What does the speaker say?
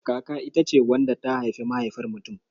Kaka ita ce wadda ta haifi mahaifar mutum.